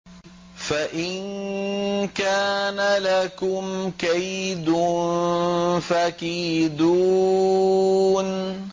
فَإِن كَانَ لَكُمْ كَيْدٌ فَكِيدُونِ